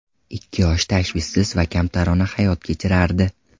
Ikki yosh tashvishsiz va kamtarona hayot kechirardi.